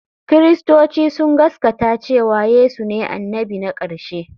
Kiristoci sun gaskata cewa Yesu ne annabi na ƙarshe.